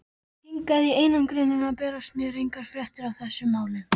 Hingað í einangrunina berast mér engar fréttir af þessum málum.